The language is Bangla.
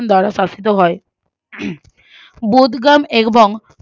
দ্বারা ফাসিত হয় হম বদগুম এগবাম